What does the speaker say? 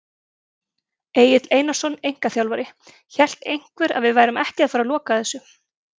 Egill Einarsson, einkaþjálfari: Hélt einhver að við værum ekki að fara loka þessu!?